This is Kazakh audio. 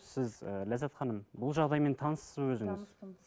сіз ы ләззат ханым бұл жағдаймен таныссыз ба өзіңіз таныспын